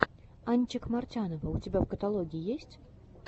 анчик мартянова у тебя в каталоге есть